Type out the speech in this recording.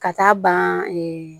Ka taa ban